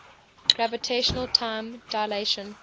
gravitational time dilation